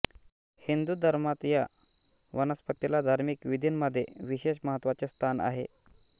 हिंदू धर्मात या वनस्पतीला धार्मिक विधींमध्ये विशेष महत्त्वाचे स्थान आहे